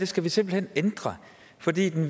skal vi simpelt hen ændre fordi den